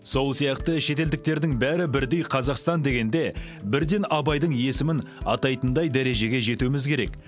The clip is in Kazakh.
сол сияқты шетелдіктердің бәрі бірдей қазақстан дегенде бірден абайдың есімін атайтындай дәрежеге жетуіміз керек